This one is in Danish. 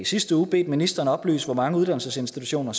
sidste uge bedt ministeren oplyse hvor mange uddannelsesinstitutioner